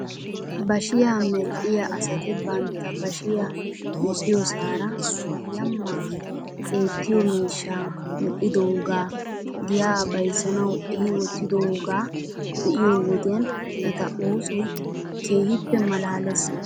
Bashiyaa medhdhiyaa asati banta bashiyaa medhdhiyoosaara yamaa eettiyoo miishshaa medhdhidoogaa giyaa bayzzanaw ehi wottidoogaa be'iyoo wodiyan eta oosoy keehippe malaales